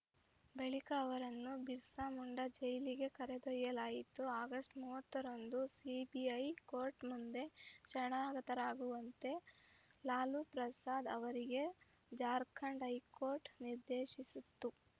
ಬಳಿಕ ಅವರನ್ನು ಬಿರ್ಸಾ ಮುಂಡಾ ಜೈಲಿಗೆ ಕರೆದೊಯ್ಯಲಾಯಿತು ಆಗಸ್ಟ್ ಮೂವತ್ತರಂದು ಸಿಬಿಐ ಕೋರ್ಟ್‌ ಮುಂದೆ ಶರಣಾಗತರಾಗುವಂತೆ ಲಾಲು ಪ್ರಸಾದ್‌ ಅವರಿಗೆ ಜಾರ್ಖಂಡ್‌ ಹೈಕೋರ್ಟ್‌ ನಿರ್ದೇಶಿಸಿತ್ತು